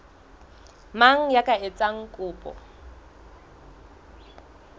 mang ya ka etsang kopo